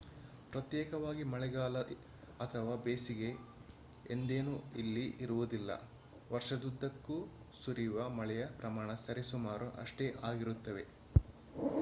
ಪ್ರತ್ಯೇಕವಾಗಿ ಮಳೆಗಾಲ ಅಥವಾ ಬೇಸಿಗೆ ಎಂದೇನೂ ಇಲ್ಲಿ ಇರುವುದಿಲ್ಲ : ವರ್ಷದುದ್ದಕ್ಕೂ ಸುರಿಯುವ ಮಳೆಯ ಪ್ರಮಾಣ ಸರಿ ಸುಮಾರು ಅಷ್ಟೇ ಇರುತ್ತದೆ